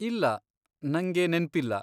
ಇಲ್ಲ, ನಂಗೆ ನೆನ್ಪಿಲ್ಲ.